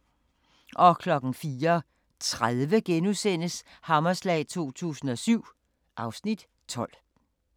04:30: Hammerslag 2007 (Afs. 12)*